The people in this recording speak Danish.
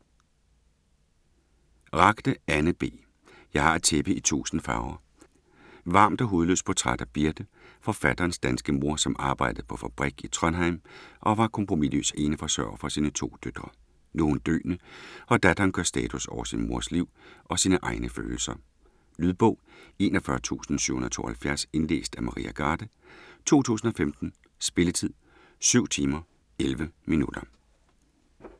Ragde, Anne B.: Jeg har et tæppe i tusind farver Varmt og hudløst portræt af Birte, forfatterens danske mor, som arbejdede på fabrik i Trondheim og var kompromisløs eneforsørger for sine to døtre. Nu er hun døende, og datteren gør status over sin mors liv og sine egne følelser. Lydbog 41772 Indlæst af Maria Garde, 2015. Spilletid: 7 timer, 11 minutter.